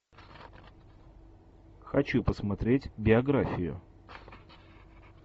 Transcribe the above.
хочу посмотреть биографию